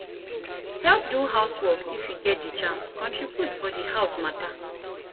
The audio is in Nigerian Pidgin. help do house work if you get di chance contribute for di house matter